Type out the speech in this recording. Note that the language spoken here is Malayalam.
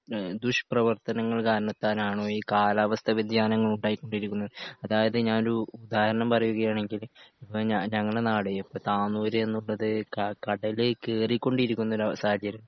ഈ ദുഷ്ട പ്രവർത്തനങ്ങൾ കാരണത്താലാണോ ഈ കാലാവസ്ഥാവ്യതിയാനങ്ങൾ ഉണ്ടായിക്കൊണ്ടിരിക്കുന്നത് അതായത് ഞാൻ ഒരു ഉദാഹരണം പറയുകയാണെങ്കിൽ ഇപ്പോ ഞാ ഞങ്ങളുടെ നാട് ഇപ്പോ താന്നൂര് എന്നുള്ളത് ക കടല് കേറി കൊണ്ടിരിക്കുന്ന ഒരു അ സാഹചര്യം